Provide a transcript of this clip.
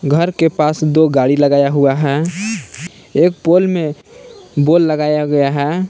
घर के पास दो गाड़ी लगाया हुआ है एक पोल में बोल लगाया गया है।